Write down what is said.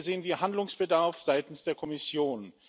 Hier sehen wir Handlungsbedarf seitens der Kommission.